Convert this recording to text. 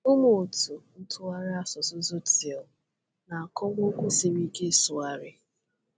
Ụmụ́otu ntụgharị asụsụ Tzotzil na-akọwa okwu siri ike ịsụgharị.